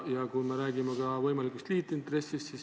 Ja me räägime ka võimalikust liitintressist.